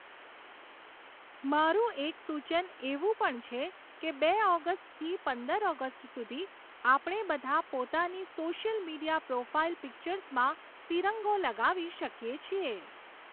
મારું એક સૂચન એવું પણ છે કે બે ઑગસ્ટથી પંદર ઑગસ્ટ સુધી, આપણે બધાં, પોતાની સૉશિયલ મિડિયા પ્રૉફાઇલ પિક્ચર્સમાં તિરંગો લગાવી શકીએ છીએ.